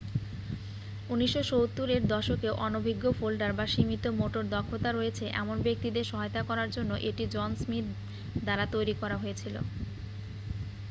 1970 এর দশকে অনভিজ্ঞ ফোল্ডার বা সীমিত মোটর দক্ষতা রয়েছে এমন ব্যাক্তিদের সহায়তা করার জন্য এটি জন স্মিথ দ্বারা তৈরি করা হয়েছিল